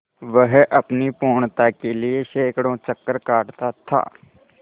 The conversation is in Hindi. वह अपनी पूर्णता के लिए सैंकड़ों चक्कर काटता था